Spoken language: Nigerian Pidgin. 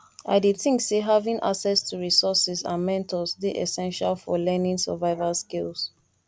i dey think say having access to resources and mentors dey essential for learning survival skills